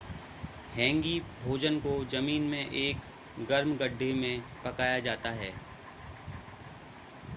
हैंगी भोजन को जमीन में एक गर्म गड्ढे में पकाया जाता है